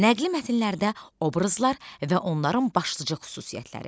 Nəqli mətnlərdə obrazlar və onların başlıca xüsusiyyətləri.